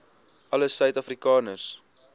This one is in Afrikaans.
alle suid afrikaners